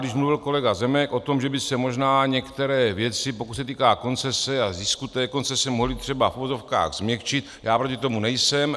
Když mluvil kolega Zemek o tom, že by se možná některé věci, pokud se týká koncese a zisku té koncese, mohly třeba v uvozovkách změkčit, já proti tomu nejsem.